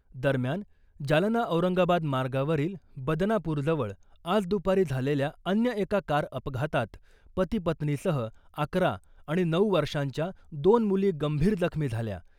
दरम्यान , जालना औरंगाबाद मार्गावरील बदनापूरजवळ आज दुपारी झालेल्या अन्य एका कार अपघातात पती पत्नीसह अकरा आणि नऊ वर्षांच्या दोन मुली गंभीर जखमी झाल्या .